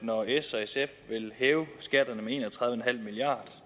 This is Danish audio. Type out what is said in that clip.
s og sf vil hæve skatterne med en og tredive milliard